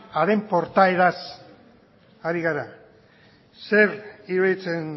haren portaeraz ari gara zer iruditzen